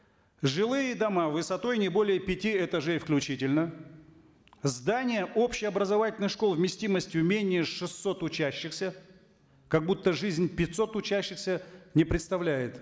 жилые дома высотой не более пяти этажей включительно здания общеобразовательных школ вместимостью менее шестисот учащихся как будто жизнь пятисот учащихся не представляет